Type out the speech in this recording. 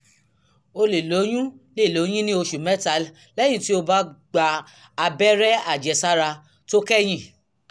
o lè lóyún lè lóyún ní oṣù mẹ́ta lẹ́yìn tí o ti gba abẹ́rẹ́ àjẹsára tó kẹ́yìn